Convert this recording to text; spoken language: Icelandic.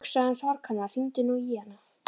Hugsaðu um sorg hennar, hringdu nú í hana.